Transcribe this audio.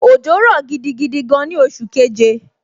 Òjò rọ̀ gidi gan ni oṣù keje